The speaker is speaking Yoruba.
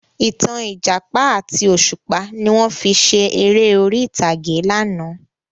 Ìtàn Ìjàpá àti òṣùpá ni wọn fi ṣe ère orí ìtàgé láánà